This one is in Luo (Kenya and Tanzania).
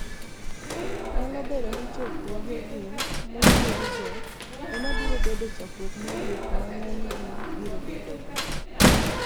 niyalo bedo nii chokruogegi machuokgo ema biro bedo chokruok mogik ma nig'eniygi biro bedogo.